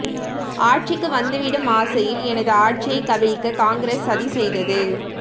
ஆட்சிக்கு வந்துவிடும் ஆசையில் எனது ஆட்சியைக் கவிழ்க்க காங்கிரஸ் சதி செய்தது